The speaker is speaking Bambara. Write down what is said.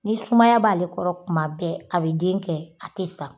Ni sumaya b'ale kɔrɔ kuma bɛɛ a bɛ den kɛ, a tɛ sa.